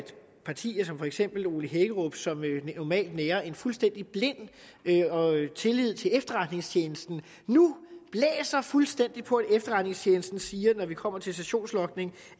partier som for eksempel ole hækkerups som normalt nærer en fuldstændig blind tillid til efterretningstjenesten nu fuldstændig blæser på at efterretningstjenesten siger at når vi kommer til sessionslogning